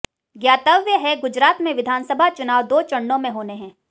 ज्ञातव्य है गुजरात में विधानसभा चुनाव दो चरणों में होने हैं